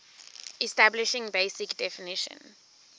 establishing basic definition